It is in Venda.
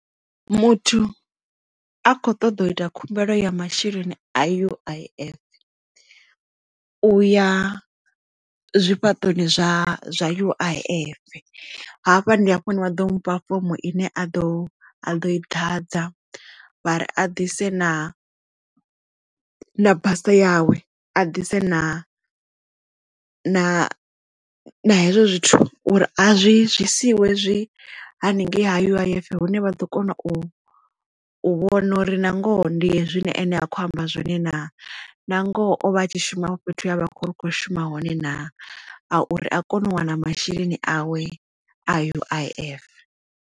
Muthu a kho ṱoḓa u ita khumbelo ya masheleni a U_I_F u ya zwifhaṱoni zwa zwa U_I_F hafha ndi hafho hune wa ḓo mufha fomo ine a ḓo a ḓo i ḓadza vha ri a ḓise na basa yawe a ḓise na na hezwo zwithu uri a zwi zwi siiwe zwi haningei U_I_F hune vha ḓo kona u u vhona uri nangoho ndi hezwi nṋe ane a kho amba zwone na na ngoho o vha a tshi shuma vho fhethu avha a kho ri kho shuma hone na a uri a kone u wana masheleni awe a U_I_F.